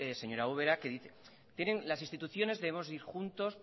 señora ubera las instituciones debemos ir juntos